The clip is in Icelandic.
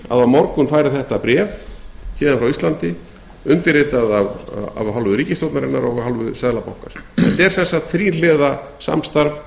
á morgun fari þetta bréf héðan frá íslandi undirritað af hálfu ríkisstjórnarinnar og af hálfu seðlabankans er þetta þríhliða samstarf